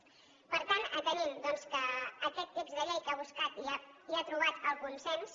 per tant atenent doncs que aquest text de llei que ha buscat i ha trobat el consens